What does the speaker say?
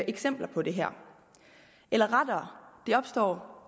eksempler på det her eller rettere det opstår